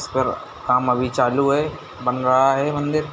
पर काम अभी चालू है बन रहा है मंदिर।